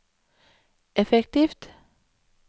effektivt